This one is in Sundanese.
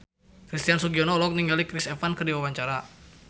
Christian Sugiono olohok ningali Chris Evans keur diwawancara